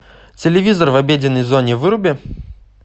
телевизор в обеденной зоне выруби